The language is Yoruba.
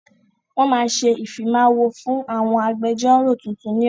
Wọn máa ṣe ìfimawo fún àwọn agbẹjọ́ró tuntun ni ọ̀la.